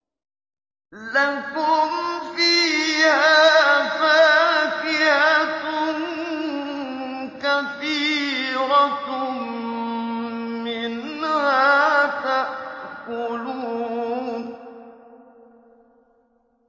لَكُمْ فِيهَا فَاكِهَةٌ كَثِيرَةٌ مِّنْهَا تَأْكُلُونَ